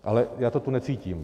Ale já to tu necítím.